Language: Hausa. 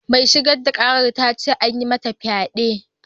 Mai shigar da ƙarar ta ce an yi mata fyade.